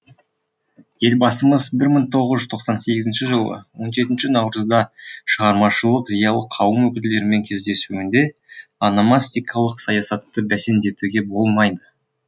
елбасымыз бір мың тоғыз жүз тоқсан сегізінші жылы он жетінші наурызда шығармашылық зиялы қауым өкілдерімен кездесуінде ономастикалық саясатты бәсеңдетуге болмайды